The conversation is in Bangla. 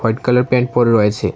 হোয়াইট কালার প্যান্ট পরে রয়েছে।